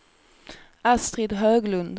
Astrid Höglund